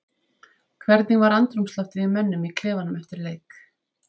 Hvernig var andrúmsloftið í mönnum í klefanum eftir leik?